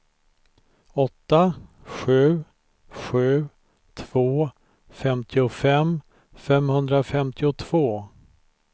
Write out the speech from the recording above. åtta sju sju två femtiofem femhundrafemtiotvå